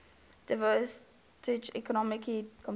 disadvantaged economically compared